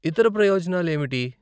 ఇతర ప్రయోజనాలు ఏమిటి?